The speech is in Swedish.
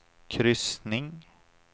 kryssning